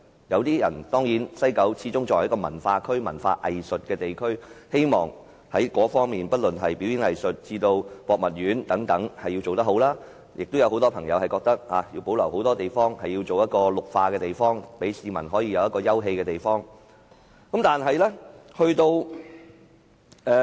有市民認為，西九始終是一個文化藝術區，應具備良好的表演藝術場地以至博物館等設施，亦有很多市民認為西九要保留很多土地作為綠化空間，好讓市民有休憩的地方。